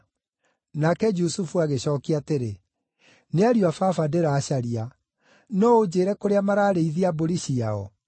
Nake Jusufu agĩcookia atĩrĩ, “Nĩ ariũ a baba ndĩracaria. No ũnjĩĩre kũrĩa mararĩithia mbũri ciao?”